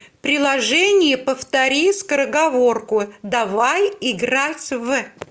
приложение повтори скороговорку давай играть в